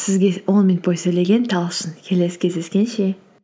сізге он минут бойы сөйлеген талшын келесі кездескенше